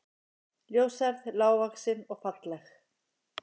Ljóshærð, lágvaxin og falleg